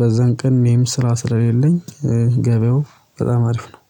በዛን ቀን እኔም ስራ ስለሌለኝ ገበያው በጣም አሪፍ ነው